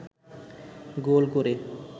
গোল করে